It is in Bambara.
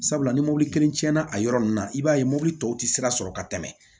Sabula ni mɔbili kelen tiɲɛna a yɔrɔ nunnu na i b'a ye mobili tɔw ti sira sɔrɔ ka tɛmɛ